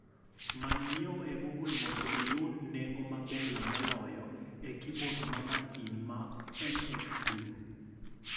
Many nyieo e google mondo iyud nengo maberie moloyo e kibod ma masin ma mxblue